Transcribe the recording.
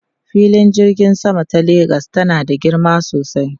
Filin jirgin sama ta Lagos tana da girma sosai.